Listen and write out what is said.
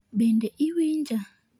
Bende iwinja?